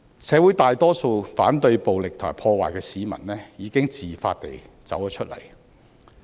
社會大多數反對暴力和破壞的市民，已經自發地走出來。